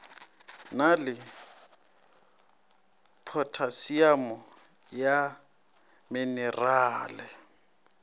na le phothasiamo ya menerale